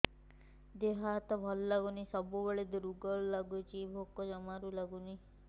ଦେହ ହାତ ଭଲ ଲାଗୁନି ସବୁବେଳେ ଦୁର୍ବଳ ଲାଗୁଛି ଭୋକ ଜମାରୁ ଲାଗୁନି